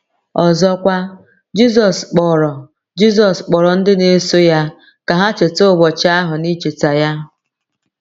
Ọzọkwa, Jizọs kpọrọ Jizọs kpọrọ ndị na-eso ya ka ha cheta ụbọchị ahụ n’icheta ya.